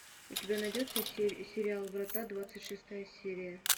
у тебя найдется сериал врата двадцать шестая серия